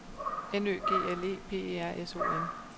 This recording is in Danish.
N Ø G L E P E R S O N